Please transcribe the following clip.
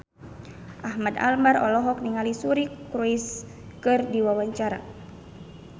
Ahmad Albar olohok ningali Suri Cruise keur diwawancara